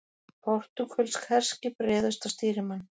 Portúgölsk herskip réðust á stýrimann